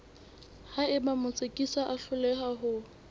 haeba motsekiswa a hloleha ho